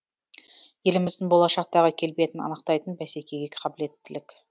еліміздің болашақтағы келбетін анықтайтын бәсекеге қабілеттілік